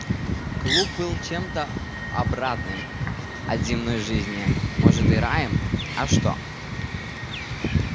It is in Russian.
клуб был чем-то обратным от земной жизни может и раем а что